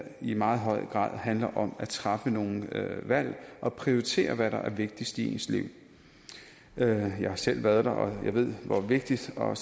i meget høj grad handler om at træffe nogle valg og prioritere hvad der er vigtigst i ens liv jeg har selv været der og ved hvor vigtigt og